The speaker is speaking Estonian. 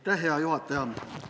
Hea juhataja!